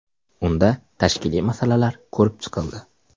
Unda tashkiliy masalalar ko‘rib chiqildi.